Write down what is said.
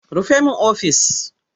Rufe min ofis!